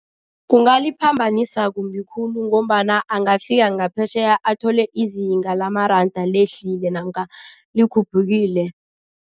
Kungaliphambanisa kumbi khulu ngombana angafika ngaphetjheya athole izinga lamaranda lehlile namkha likhuphukile.